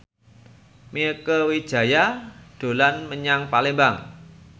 Mieke Wijaya dolan menyang Palembang